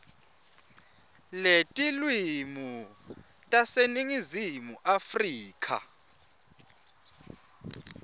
letilwimi taseningizimu afrika